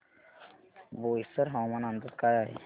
बोईसर हवामान अंदाज काय आहे